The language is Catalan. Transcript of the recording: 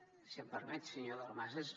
si m’ho permet senyor dalmases